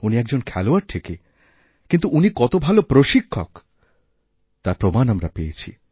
উনি একজন খেলোয়াড় ঠিকই কিন্তু উনি কত ভাল প্রশিক্ষকতার প্রমাণ আমরা পেয়েছি